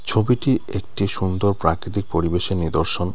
ছবিটি একটি সুন্দর প্রাকৃতিক পরিবেশে নিদর্শন।